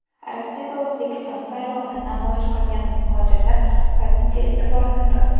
Rossiyada O‘zbekiston bayrog‘ini namoyish qilgan muhojirlar politsiya e’tiborini tortdi.